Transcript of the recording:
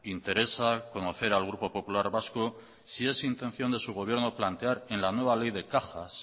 interesa conocer al grupo popular vasco si es intención de su gobierno plantear en la nueva ley de cajas